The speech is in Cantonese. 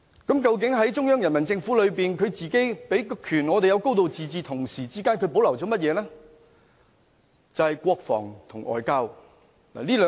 究竟中央人民政府自己授權香港可"高度自治"，同時又保留了甚麼呢？